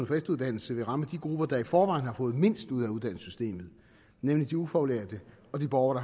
for efteruddannelse vil ramme de grupper der i forvejen har fået mindst ud af uddannelsessystemet nemlig de ufaglærte og de borgere